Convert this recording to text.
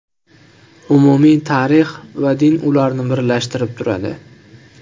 Umumiy tarix va din ularni birlashtirib turadi.